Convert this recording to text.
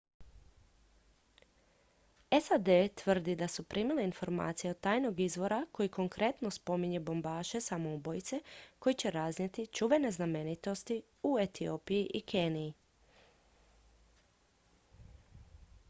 "sad tvrdi da su primili informacije od tajnog izvora koji konkretno spominje bombaše samoubojice koji će raznijeti "čuvene znamenitosti" u etiopiji i keniji.